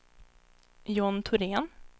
John Thorén